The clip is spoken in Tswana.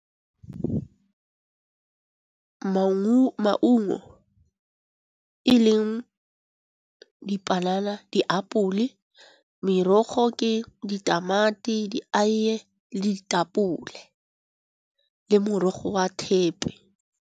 Maungo e leng dipanana, diapole. Merogo ke ditamati, di aiye le ditapole le morogo wa thepi.